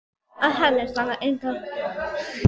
Að henni standa engar valdaklíkur í landinu.